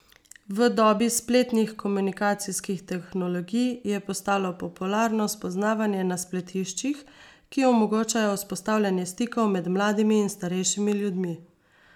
V dobi spletnih komunikacijskih tehnologij je postalo popularno spoznavanje na spletiščih, ki omogočajo vzpostavljanje stikov med mladimi in starejšimi ljudmi.